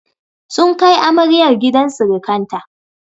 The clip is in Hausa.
Sun kai amaryar gidan sirikanta.